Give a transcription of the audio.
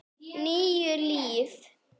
Níu líf